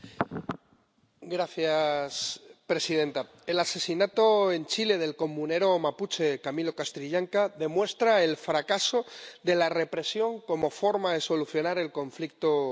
Señora presidenta, el asesinato en Chile del comunero mapuche Camilo Catrillanca demuestra el fracaso de la represión como forma de solucionar el conflicto en la región